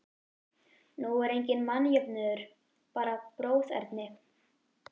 Nú er enginn mannjöfnuður, bara bróðerni.